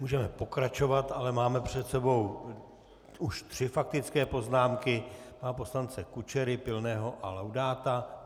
Můžeme pokračovat, ale máme před sebou už tři faktické poznámky - pana poslance Kučery, Pilného a Laudáta.